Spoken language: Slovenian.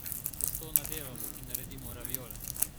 Testo nadevamo in naredimo raviole.